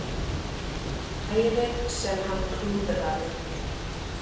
Færið sem hann klúðraði?